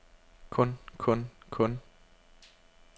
kun kun kun